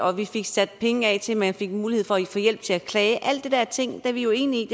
og at vi fik sat penge af til at man fik mulighed for at få hjælp til at klage alle de der ting er vi jo enige i